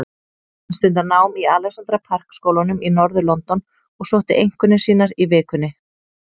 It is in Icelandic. Hann stundar nám í Alexandra Park skólanum í norður-London og sótti einkunnir sínar í vikunni.